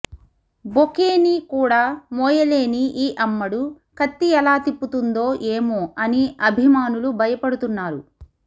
bouquet ని కూడా మోయలేని ఈ అమ్మడు కత్తి ఎలా తిప్పుతుందో ఏమో అని అభిమానులు భయపడుతున్నారు